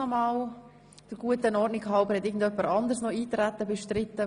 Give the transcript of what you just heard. Möchte jemand das Eintreten bestreiten?